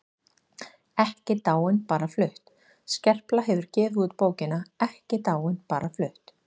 EKKI DÁIN BARA FLUTT Skerpla hefur gefið út bókina Ekki dáin- bara flutt.